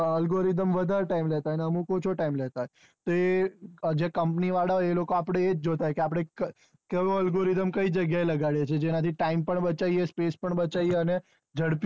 algoridhem વધારે time લેતા હોય ને આમુક ઓછા time લેતા હોય તો એ જે company વાળા હોય એ લોકો આપડે ઇજજ જોતા હોય કે આયોડે કયો algorithm કઈ જગ્યા લાગે એ છે જેના થી time પણ બચાઈયે space પણ બચાઈયે અને ઝડપી